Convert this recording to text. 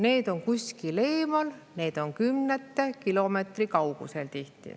Need on kuskil eemal, need on tihti kümnete kilomeetrite kaugusel.